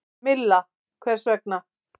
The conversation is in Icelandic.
Milla: Hvers vegna?